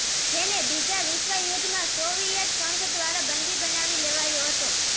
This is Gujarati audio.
જેને બીજા વિશ્વયુદ્ધમાં સોવિયત સંઘ દ્વારા બંદી બનાવી લેવાયો હતો